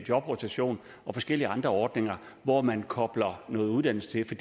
jobrotation og forskellige andre ordninger hvor man kobler noget uddannelse til